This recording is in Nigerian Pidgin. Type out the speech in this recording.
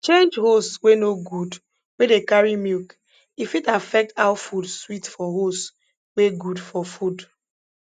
change hose wey no good wey dey carry milk e fit affect how food sweet for hose wey good for food